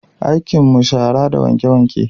Aikin mu shara da wanke-wanke